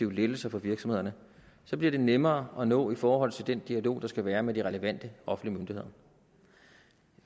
lettelser for virksomhederne så bliver det nemmere at nå i forhold til den dialog der skal være med de relevante offentlige myndigheder